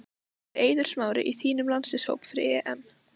Væri Eiður Smári í þínum landsliðshóp fyrir EM?